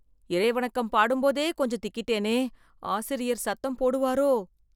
இறை வணக்கம் பாடும்போதே கொஞ்சம் திக்கிட்டேனே... ஆசிரியர் சத்தம் போடுவாரோ...